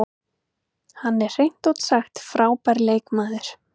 Hann er hreint út sagt frábær leikmaður.